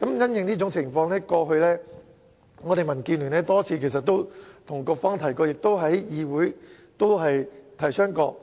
因應這種情況，過去我們民主建港協進聯盟已多次向局方及議會反映，